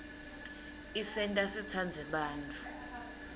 isenta sitsandze bantfu